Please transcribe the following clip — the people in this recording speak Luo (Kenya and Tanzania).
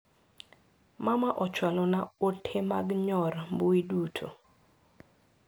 Mama ochwalo na ote mag nyor mbui duto.